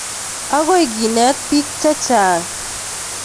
Akoi keneet piik che chang'